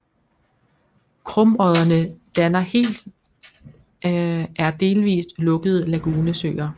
Krumodderne danner helt er delvist lukkede lagunesøer